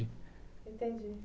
Entendi